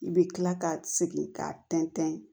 I bɛ kila ka segin k'a tɛntɛn